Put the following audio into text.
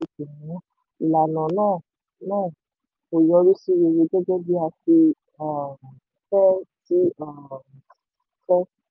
kò sí àsìkò mọ ìlànà náà náà kò yọrí sí rere gẹ́gẹ́ bí a ti um fẹ́. ti um fẹ́.